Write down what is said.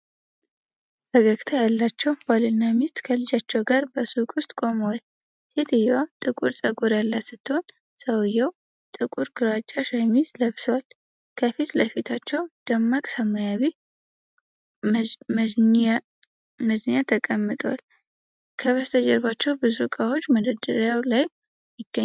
ፈገግታ ያላቸው ባልና ሚስት ከልጃቸው ጋር በሱቅ ውስጥ ቆመዋል። ሴትየዋ ጥቁር ፀጉር ያላት ስትሆን፣ ሰውዬው ጥቁር ግራጫ ሸሚዝ ለብሷል። ከፊት ለፊታቸው ደማቅ ሰማያዊ መዝኚያ ተቀምጧል። ከበስተጀርባ ብዙ እቃዎች በመደርደሪያዎች ላይ ይገኛሉ።